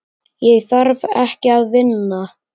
Ég þarf ekki að vinna.